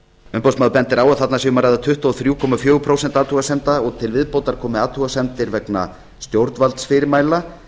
umboðsmaður bendir á að þarna sé um að ræða tuttugu og þrjú komma fjögur prósent athugasemda og til viðbótar komi athugasemdir vegna stjórnvaldsfyrirmæla